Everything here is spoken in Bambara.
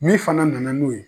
Min fana nana n'o ye